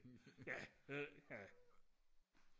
ja ja ja